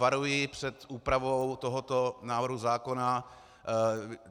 Varuji před úpravou tohoto návrhu zákona.